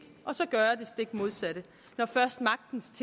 og så gøre det stik modsatte når først magtens